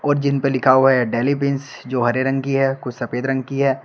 और जिन पे लिखा हुआ है डेलिबिन्स जो हरे रंग की है कुछ सफेद रंग की है।